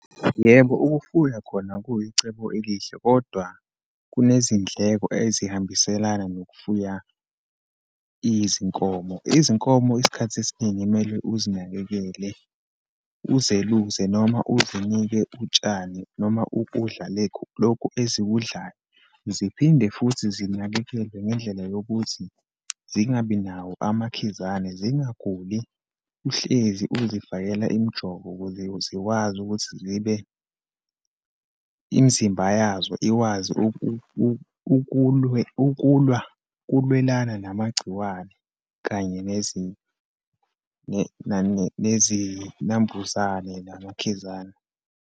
Yebo, ukufuya khona kuyicebo elihle, kodwa kunezindleko ezihambiselana nokufuya izinkomo. Izinkomo, isikhathi esiningi kumele uzinakekele, uzeluse, noma uzinike utshani, noma ukudla lokhu ezikudalayo. Ziphinde futhi zinakekelwe ngendlela yokuthi zingabi nawo amakhizane, zingaguli. Uhlezi uzifakela imijovo ukuze zikwazi ukuthi zibe imizimba yazo ikwazi ukulwe, ukulwa, ukulwelana namagciwane, kanye nezinambuzane namakhizane.